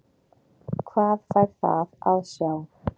Hvað fær það að sjá?